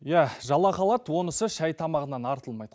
ия жалақы алады онысы шай тамағынан артылмайды